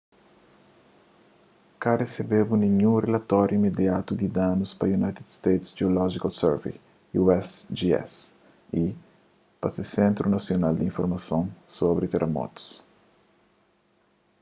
ka resebedu ninhun rilatóri imediatu di danus pa united states geological survey usgs y pa se sentru nasional di informason sobri teramotus